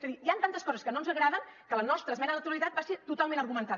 és a dir hi han tantes coses que no ens agraden que la nostra esmena a la totalitat va ser totalment argumentada